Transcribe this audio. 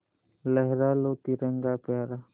लहरा लो तिरंगा प्यारा